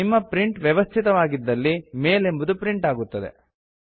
ನಿಮ್ಮ ಪ್ರಿಂಟರ್ ವ್ಯವಸ್ಥಿತವಾಗಿದ್ದಲ್ಲಿ ಮೇಲ್ ಎಂಬುದು ಪ್ರಿಂಟ್ ಆಗುತ್ತದೆ